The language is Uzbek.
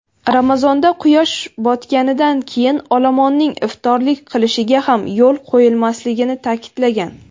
Ramazonda quyosh botganidan keyin olomonning iftorlik qilishiga ham yo‘l qo‘yilmasligini ta’kidlagan.